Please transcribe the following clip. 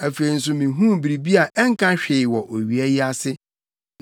Afei nso mihuu biribi a ɛnka hwee wɔ owia yi ase: